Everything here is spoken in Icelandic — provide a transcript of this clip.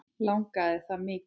Langaði það mikið.